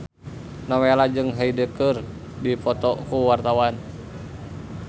Nowela jeung Hyde keur dipoto ku wartawan